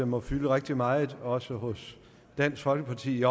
må fylde rigtig meget i også hos dansk folkeparti